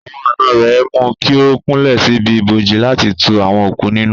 Àwọn àna rẹ̀ mú kí ó kúnlẹ̀ síbi ibojì láti tu àwọn òkú nínú.